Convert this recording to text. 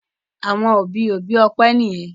àwọn òbí òbí Ope niyen.